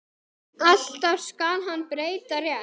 Alltaf skal hann breyta rétt.